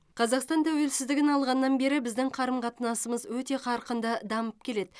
қазақстан тәуелсіздігін алғаннан бері біздің қарым қатынасымыз өте қарқынды дамып келеді